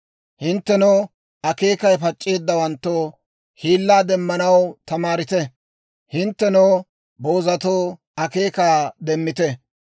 Hinttenoo akeekay pac'c'eeddawanttoo, hiillaa demmanaw tamaarite. Hinttenoo boozatoo, akeekaa demmite.